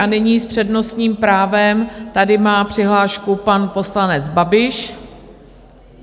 A nyní s přednostním právem tady má přihlášku pan poslanec Babiš.